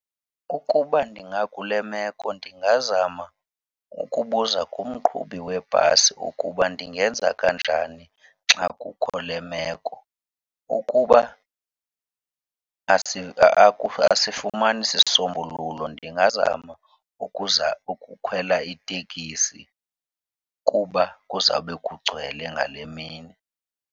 Ukuba ndingakule meko ndingazama ukubuza kumqhubi webhasi ukuba ndingenza kanjani xa kukho le meko. Ukuba asifumani sisombululo ndingazama ukuza ukukhwela itekisi kuba kuzawube kugcwele ngale mini.